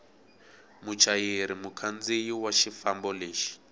muchayeri mukhandziyi wa xifambo lexo